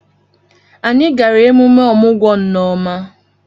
Anyị gara emume ọmụgwọ Nneoma.